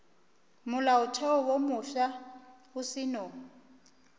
molaotheo wo mofsa o seno